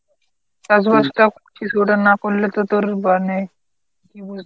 চাষ বাষ টাও কিছুটা না করলে তো তোর মানে কী